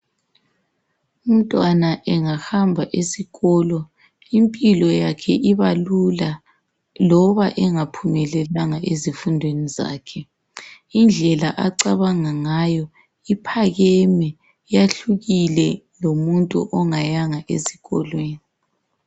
Umntwana engahamba esikolo impilo yakhe ibalula loba engaphumelelanga ezifundweni zakhe. Indlela acabanga ngayo uphakeme yehlukile kulomuntu ongayanga esikolweni.